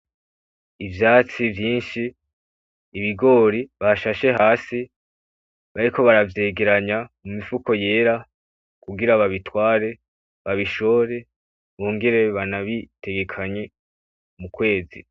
Ivyatsi vyinshi, ibigori bashashe hasi bariko baravyegeranya mu mifuko yera kugira babitware, babishore bongere banabitekanye m'ukwezi.